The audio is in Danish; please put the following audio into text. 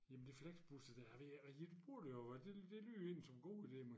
Jamen de flexbusser dér jeg ved ik jeg bruger det jo det det lyder egentlig som en god idé med